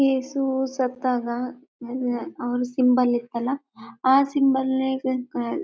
ಯೇಸು ಸತ್ತಾಗ ಅವರ ಸಿಂಬಲ್ ಇತ್ತಲ್ಲ ಆ ಸಿಂಬಲ್